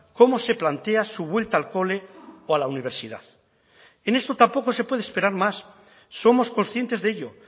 cómo se plantea su vuelta al cole o a la universidad en esto tampoco se puede esperar más somos conscientes de ello